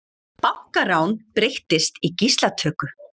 Bankarán breyttist í gíslatöku